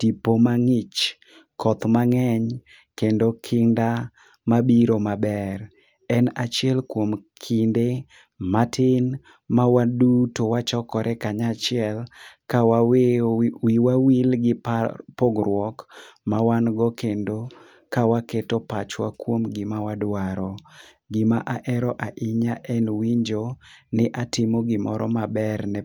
tipo mang'ich, koth mang'eny kendo kinda mabiro maber. En achiel kwom kinde matin mawaduto wachokore kanyachiel kawaweyo wiwa wil gi pa pogruok mawan go kendo kawaketo pachwa kwom gima wadwaro. Gima aero ainya en winjo ni atimo gimoro maber ne.